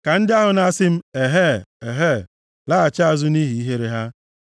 Ka ndị ahụ na-asị m, “Ehee! Ehee!” laghachi azụ nʼihi ihere ha.